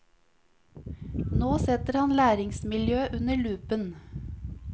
Nå setter han læringsmiljøet under lupen.